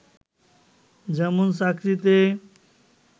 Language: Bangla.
যেমন চাকরিতে